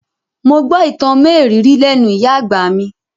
Mo gbọ́ ìtàn mérìíìírí lẹ́nú ìyá àgbà mi.